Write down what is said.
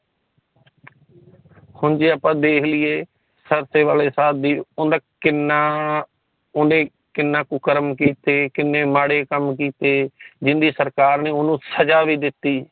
ਹੁਣ ਜੇ ਆਪਾ ਦੇਖ ਲਏ ਸਰਸੇ ਵਾਲੇ ਸਾਬ ਦੀ ਉਨ੍ਹਾਂ ਕਿੰਨਾ ਓਨੇ ਕਿੰਨਾ ਕੁਕਰਮ ਕਿੱਤੇ ਕਿਨ੍ਹੇ ਮਾੜੇ ਕੰਮ ਕਿੱਤੇ ਜਿਦੀ ਸਰਕਾਰ ਨੇ ਓਹਨੂੰ ਸੱਜਾ ਵੀ ਦਿੱਤੀ